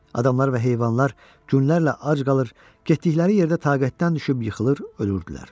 Adamlar və heyvanlar günlərlə ac qalıb, getdikləri yerdə taqətdən düşüb yıxılır, ölürdülər.